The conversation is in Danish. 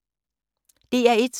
DR1